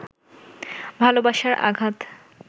ভালবাসার আঘাত